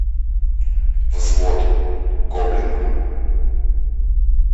взвод гоблина